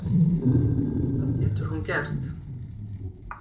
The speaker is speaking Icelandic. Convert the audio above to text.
Hvað getur hún gert